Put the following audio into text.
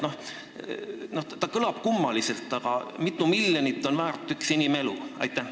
Küsimus kõlab kummaliselt, aga mitu miljonit on väärt üks inimelu?